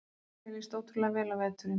Mér líst ótrúlega vel á veturinn